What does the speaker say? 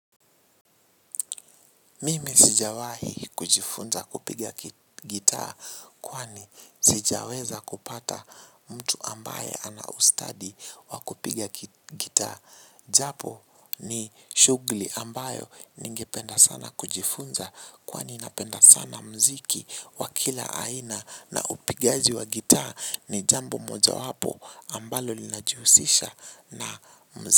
Mimi sijawahi kujifunza kupiga gitaa kwani sijaweza kupata mtu ambaye anaustadi wa kupiga gitaa. Japo ni shughuli ambayo ningependa sana kujifunza kwani napenda sana muziki wa kila aina na upigaji wa gitaa ni jambo mojawapo ambalo linajihusisha na.